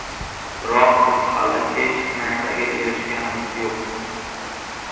Biroq biz hali hech narsaga erishganimiz yo‘q.